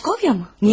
Pikaskovya mı?